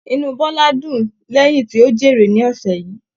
Inú Bọla dùn lẹyìn tí o jèrè ní ọsẹ yìí.